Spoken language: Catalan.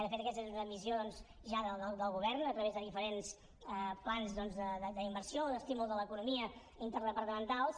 de fet aquesta és una missió ja del govern a través de diferents plans d’inversió o d’estímul de l’economia interdepartamentals